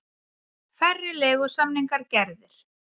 Færri leigusamningar gerðir